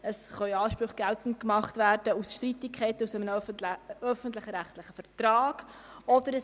Es können auch Ansprüche aus Streitigkeiten aus einem öffentlich-rechtlichen Vertrag geltend gemacht werden.